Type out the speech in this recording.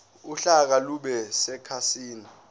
uhlaka lube sekhasini